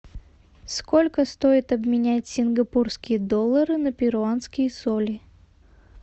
сколько стоит обменять сингапурские доллары на перуанские соли